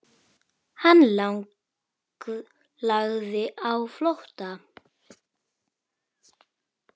Hann lagði á flótta.